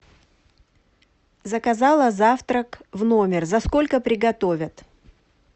заказала завтрак в номер за сколько приготовят